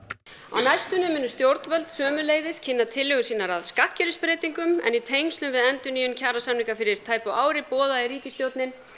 á næstunni munu stjórnvöld sömuleiðis kynna tillögur sínar að skattkerfisbreytingum en í tengslum við endurnýjun kjarasamninga fyrir tæpu ári boðaði ríkisstjórnin